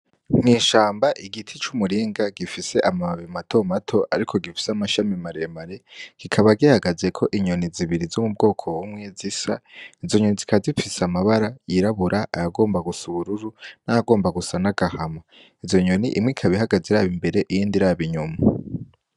Mw’ishamba igiti c'umuringa gifise amababi matomato ariko gifise amashami maremare kikaba gihagazeko inyoni zibiri zomubwoko bumwe zisa izo nyoni zikaba zifise amabara yirabura ayagomba gusa ubururu n'ayagomba gusa n'agahama izo nyoni imwe ikaba ihagaze iraba imbere iyindi iraba inyuma.